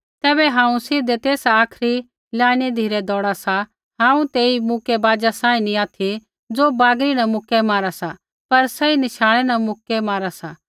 तैबै हांऊँ सीधै तेसा आखरी लाईना धिरै दौउड़ा सा हांऊँ तेई मुक्कैबाजा सांही नैंई ऑथि ज़ो बागरी न मुक्कै मारा सा पर सही नशाणै न मुक्कै मारा सा